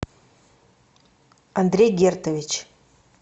андрей гертович